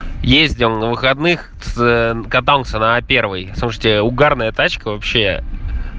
ездил на выходных с катался на первой слушайте угарная тачка вообще